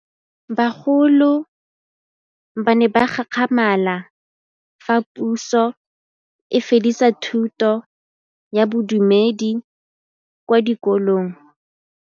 Bagolo ba ne ba gakgamala fa Pusô e fedisa thutô ya Bodumedi kwa dikolong.